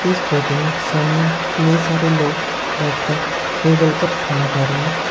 इस फोटो में सामने कितने सारे लोग बैठकर टेबल पर खाना खा रहे हैं।